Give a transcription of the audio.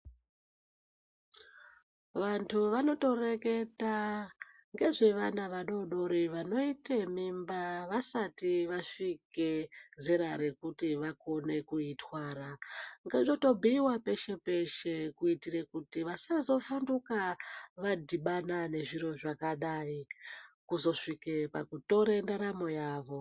Vantu vanotoreketa nezvevana vadoridori vanota mimba vasina kusvika zera rekuti vakone kuitwara ngazvibuyiwe peshe peshe kuti vasazovhunduka vadhubana nezviro zvakadai kuzosvika pakutora ndaramo yavo.